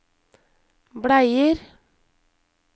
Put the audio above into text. bleier